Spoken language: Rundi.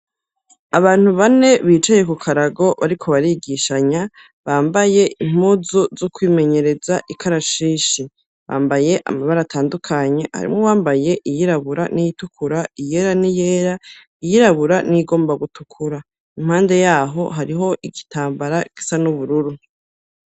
Abantu bane, bicaye ku karago, bariko barigishanya, bambaye impuzu zo kwimenyereza ikarashishi; bambaye amabara atandukanye, harimwo uwambaye iyirabura n'iyitukura, iyera n’iyera, iyirabura n’iyigomba gutukura; impande y'aho hariho igitambara kisa n'ubururu.